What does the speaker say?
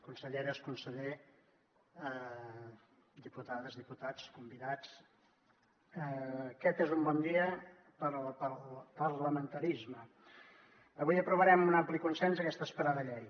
conselleres conseller diputades diputats convidats aquest és un bon dia per al parlamentarisme avui aprovarem amb un ampli consens aquesta esperada llei